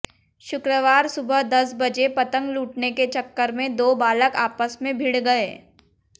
शुक्रवार सुबह दस बजे पतंग लूटने के चक्कर में दो बालक आपस में भिड़ गए